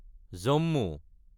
Jammu